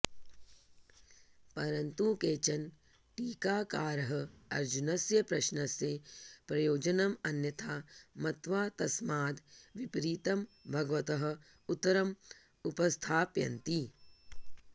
परन्तु केचन टीकाकाराः अर्जुनस्य प्रश्नस्य प्रयोजनम् अन्यथा मत्वा तस्माद् विपरितं भगवतः उत्तरम् उपस्थापयन्ति